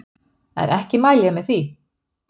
En ekki mæli ég með því.